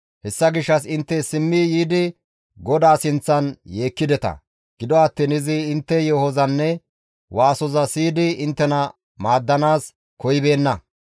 Hessa gishshas intte simmi yiidi GODAA sinththan yeekkideta; gido attiin izi intte yeehozanne waasoza siyidi inttena maaddanaas koyibeenna.